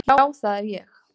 Já, það er ég!